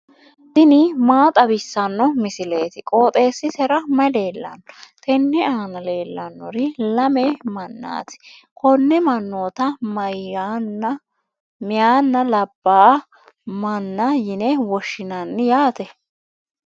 tini maa xawissanno misileeti? qooxeessisera may leellanno? tenne aana leellannori lame mannaati. konee mannoota meyaanna labbaa maanna yine woshshinanni yaate.